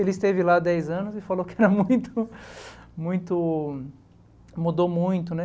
Ele esteve lá há dez anos e falou que era muito muito mudou muito.